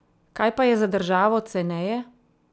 Kaj pa je za državo ceneje?